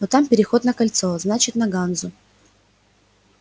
но там переход на кольцо значит на ганзу